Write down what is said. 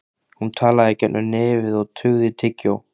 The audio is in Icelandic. Hún talaði í gegnum nefið og tuggði tyggjó.